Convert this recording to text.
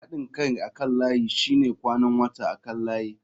Haɗin kai akan layi shine kwanan wata akan layi.